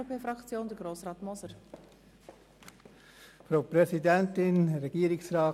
Für die SVP-Fraktion hat Grossrat Moser das Wort.